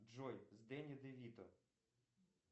джой с дэнни де вито